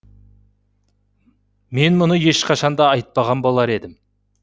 мен мұны ешқашанда айтпаған болар едім